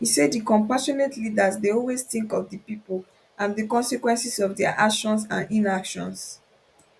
e say di compassionate leaders dey always think of di pipo and di consequences of dia actions and inactions